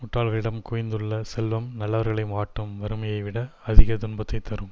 முட்டாள்களிடம் குவிந்துள்ள செல்வம் நல்லவர்களை வாட்டும் வறுமையைவிட அதிக துன்பத்தை தரும்